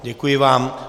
Děkuji vám.